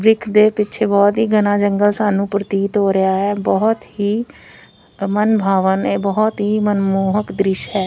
ਦੇ ਪਿੱਛੇ ਬਹੁਤ ਹੀ ਘਣਾ ਜੰਗਲ ਸਾਨੂੰ ਪ੍ਰਤੀਤ ਹੋ ਰਿਹਾ ਹੈ ਬਹੁਤ ਹੀ ਮਨਭਾਵਕ ਬਹੁਤ ਹੀ ਮਨਮੋਹਕ ਦ੍ਰਿਸ਼ ਹੈ।